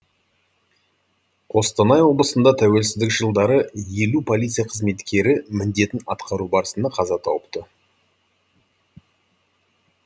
қостанай облысында тәуелсіздік жылдары елу полиция қызметкері міндетін атқару барысында қаза тауыпты